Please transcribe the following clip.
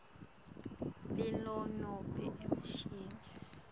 lelincusa nobe emishini